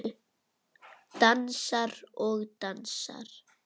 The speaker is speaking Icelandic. Dansar og dansar.